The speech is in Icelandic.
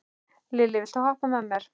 Lilli, viltu hoppa með mér?